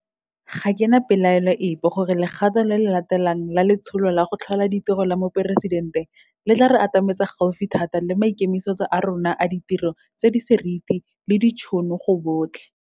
Ga ke na pelaelo epe gore legato le le latelang la Letsholo la go Tlhola Ditiro la Moporesidente le tla re atametsa gaufi thata le maikemisetso a rona a ditiro tse di seriti le ditšhono go botlhe.